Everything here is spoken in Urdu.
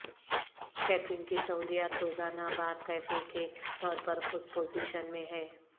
کیٹرنگ کی سہولیات روزانہ بار کیفے کے طور پر خود پوزیشن میں ہے